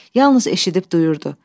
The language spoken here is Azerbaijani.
Yalnız eşidib duyurdu.